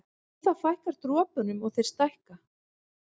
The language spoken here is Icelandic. Við það fækkar dropunum og þeir stækka.